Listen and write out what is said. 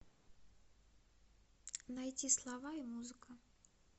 найти слова и музыка